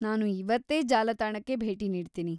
ನಾನು ಇವತ್ತೇ ಜಾಲತಾಣಕ್ಕೆ ಭೇಟಿ ನೀಡ್ತೀನಿ.